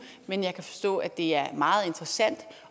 men jeg kan forstå at det er meget interessant